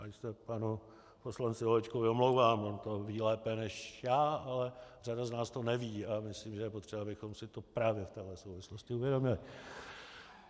Já se panu poslanci Holečkovi omlouvám, on to ví lépe než já, ale řada z nás to neví a myslím, že je potřeba, abychom si to právě v téhle souvislosti uvědomili.